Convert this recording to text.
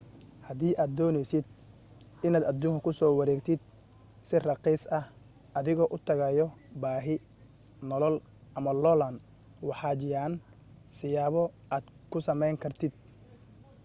hadii aad dooneysid inaad aduunka kusoo wareegtid si rakhiis ah adigoo u tagaayo baahi nolol ama loolan waxaa jiaan siyaabo aad ku samayn kartid